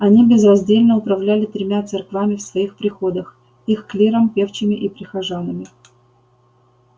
они безраздельно управляли тремя церквами в своих приходах их клиром певчими и прихожанами